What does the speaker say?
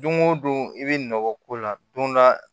Don o don i bɛ nɔbɔ ko la don dɔ la